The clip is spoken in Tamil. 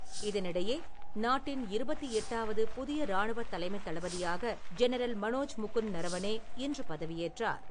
இதனிடையே, நாட்டின் இருபத்து எட்டாவது புதிய ராணுவ தலைமைத் தளபதியாக ஜெனரல் மனோஜ் முகுந்த் நரவனே இன்று பதவியேற்றார்.